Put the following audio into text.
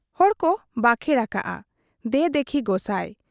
ᱦᱚᱲᱠᱚ ᱵᱟᱠᱷᱮᱬ ᱟᱠᱟᱜ , ᱫᱮ ᱫᱤᱠᱷᱤ ᱜᱚᱥᱟᱸ ᱾